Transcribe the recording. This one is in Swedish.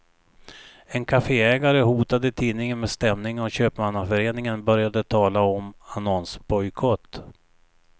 En kafeägare hotade tidningen med stämning och köpmannaföreningen började tala om annonsbojkott.